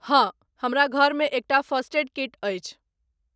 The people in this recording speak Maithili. हँ हमरा घरमे एकटा फर्स्ट ऐड किट अछि।